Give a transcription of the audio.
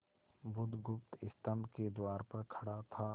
बुधगुप्त स्तंभ के द्वार पर खड़ा था